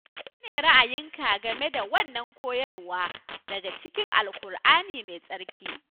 Mene ne ra'ayinka game da wannan koyarwa daga cikin Alkur'ani Mai Tsarki